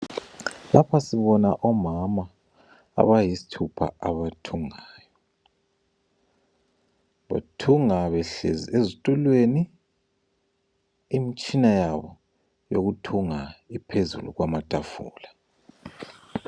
Lapha sibona omama abayisithupha abathungayo. Bathunga behlezi ezitulweni, imitshina yabo yokuthunga iphezulu kwamatafula.